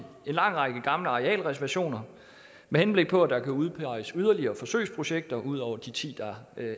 lang række gamle arealreservationer med henblik på at der kan udpeges yderligere forsøgsprojekter ud over de ti der